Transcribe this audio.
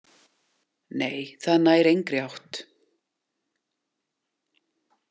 Nei, það nær engri átt.